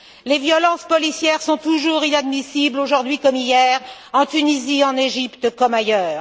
Les violences policières sont toujours inadmissibles, aujourd'hui comme hier, en Tunisie et en Égypte, comme ailleurs.